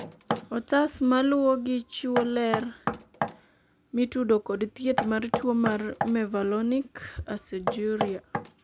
otas maluwogi chiwo ler mitudo kod thieth mar tuo mar mevalonic aciduria